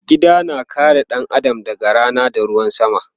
Gida na kare ɗan Adam daga Rana da ruwan sama